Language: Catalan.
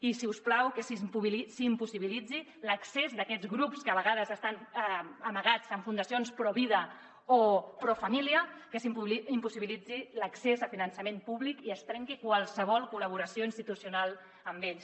i si us plau que s’impossibiliti l’accés d’aquests grups que a vegades estan amagats en fundacions provida o profamília que s’impossibiliti l’accés a finançament públic i es trenqui qualsevol col·laboració institucional amb ells